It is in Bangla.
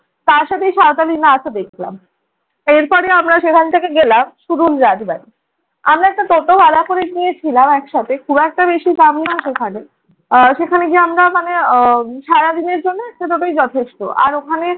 তার সাথে সাঁওতালি নাচও দেখলাম। এরপরে আমরা সেখান থেকে গেলাম কুড়ুল রাজবাড়ী। আমরা একটা টোটো ভাড়া করে নিয়েছিলাম একসাথে, খুব একটা বেশি দাম না সেখানে। আহ সেখানে গিয়ে আমরা মানে আহ সারাদিনের জন্য টোটোই যথেষ্ট। আর ওখানে